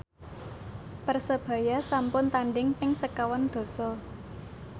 Persebaya sampun tandhing ping sekawan dasa